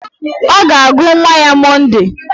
Ọ ga-agụ nwa ya Monde